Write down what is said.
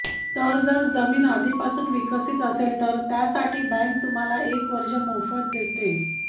तर जर जमीन आधीपासून विकसीत असेल तर त्यासाठी बँक तुम्हाला एक वर्ष मोफत देते